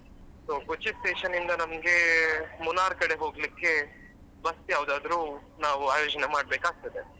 So Kochi station ಇಂದ ನಮ್ಗೆ Munnar ಕಡೆ ಹೋಗ್ಲಿಕ್ಕೆ bus ಯಾವ್ದಾದ್ರು ನಾವು ಆಯೋಜನೆ ಮಾಡ್ಬೇಕಾಗ್ತದೆ.